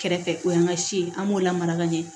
Kɛrɛfɛ o y'an ka si ye an b'o lamara ka ɲɛ